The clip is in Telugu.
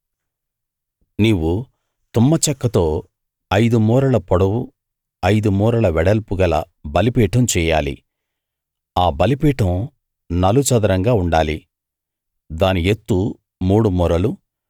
నీవు తుమ్మచెక్కతో ఐదు మూరల పొడవు ఐదు మూరల వెడల్పు గల బలిపీఠం చెయ్యాలి ఆ బలిపీఠం నలుచదరంగా ఉండాలి దాని యెత్తు మూడు మూరలు